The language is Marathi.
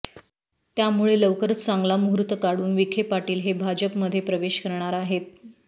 त्यामुळे लवकरच चांगला मुहूर्त काढून विखे पाटील हे भाजप मध्ये प्रवेश करणार आहेत